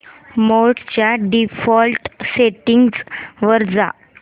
मोड च्या default settings वर जा